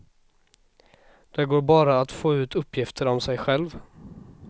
Det går bara att få ut uppgifter om sig själv.